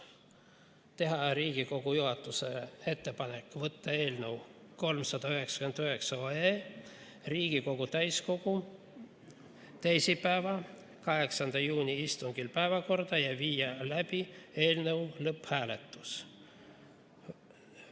Teha Riigikogu juhatusele ettepanek võtta eelnõu 399 Riigikogu täiskogu teisipäeva, 8. juuni istungil päevakorda ja viia läbi eelnõu lõpphääletus.